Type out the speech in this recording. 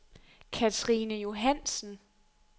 Katrine Johannsen